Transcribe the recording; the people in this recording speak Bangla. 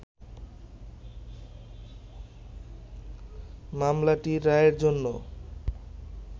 মামলাটি রায়ের জন্য